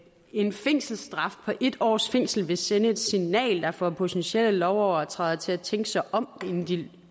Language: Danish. en fængselsstraf på en års fængsel vil sende et signal der får potentielle lovovertrædere til at tænke sig om inden de